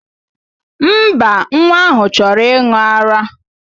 Mba, nwa ahụ chọrọ ịṅụ ara.